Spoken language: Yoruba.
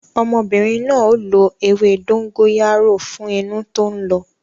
Ọmọbìnrin na ó lo ewé dóngóyárò fún inú tó ń lọ